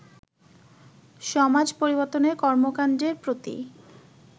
সমাজ পরিবর্তনের কর্মকাণ্ডের প্রতি